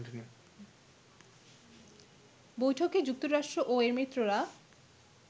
বৈঠকে যুক্তরাষ্ট্র ও এর মিত্ররা